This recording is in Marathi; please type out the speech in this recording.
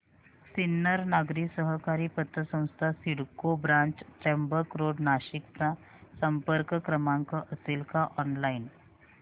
सिन्नर नागरी सहकारी पतसंस्था CIDCO branch Trimbak road Nashik चा संपर्क क्रमांक असेल का ऑनलाइन